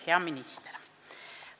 Hea minister!